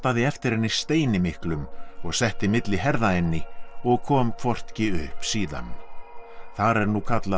eftir henni steini miklum og setti milli herða henni og kom hvorki upp síðan þar er nú kallað